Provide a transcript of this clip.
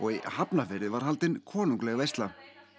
í Hafnarfirði var haldin konungleg veisla